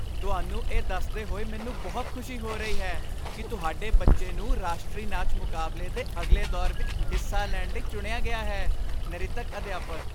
ਤੁਹਾਨੂੰ ਇਹ ਦੱਸਦੇ ਹੋਏ ਮੈਨੂੰ ਬਹੁਤ ਖੁਸ਼ੀ ਹੋ ਰਹੀ ਹੈ ਕੀ ਤੁਹਾਡੇ ਬੱਚੇ ਨੂੰ ਰਾਸ਼ਟਰੀ ਨਾਚ ਮੁਕਾਬਲੇ ਦੇ ਅਗਲੇ ਦੌਰ ਵਿੱਚ ਹਿੱਸਾ ਲੈਣ ਲਈ ਚੁਣਿਆ ਗਿਆ ਹੈ ਨਰਿਤਕ ਅਧਿਆਪਕ